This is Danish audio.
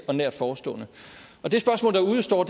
og nært forestående det spørgsmål der udestår